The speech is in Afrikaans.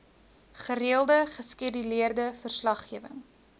gereelde geskeduleerde verslaggewing